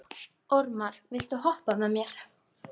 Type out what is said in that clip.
Ormar, viltu hoppa með mér?